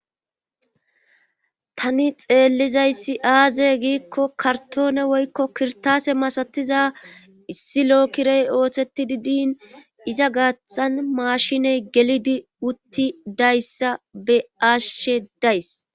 Tani xeellizayssi aaze giikko kartoone woykko kirtaase masatiza issi lookirey ooththetti didin iza gaathan maashiney gelidi utti dayssa be ashshe days.